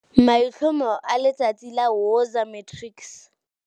MAITLHOMO A LETSHOLO LA WOZA MATRICS